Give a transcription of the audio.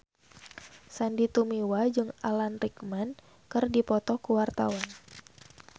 Sandy Tumiwa jeung Alan Rickman keur dipoto ku wartawan